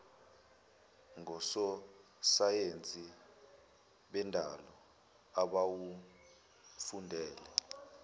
ngososayensi bendalo abawufundele